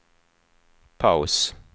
paus